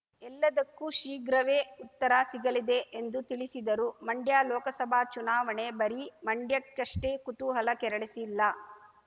ಎಲ್ಲದಕ್ಕೂ ಶೀಘ್ರವೇ ಉತ್ತರ ಸಿಗಲಿದೆ ಎಂದು ತಿಳಿಸಿದರು ಮಂಡ್ಯ ಲೋಕಸಭಾ ಚುನಾವಣೆ ಬರೀ ಮಂಡ್ಯಕ್ಕಷ್ಟೆ ಕುತೂಹಲ ಕೆರಳಿಸಿಲ್ಲ